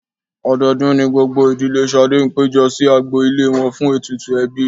Ọdọọdún ni gbogbo ìdílé Ṣadé ń péjọ sí agbo ilé wọn fún ètùtù ẹbí.